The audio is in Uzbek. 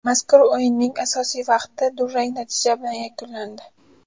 Mazkur o‘yinning asosiy vaqti durang natija bilan yakunlandi.